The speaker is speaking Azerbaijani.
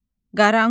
Qaranquş.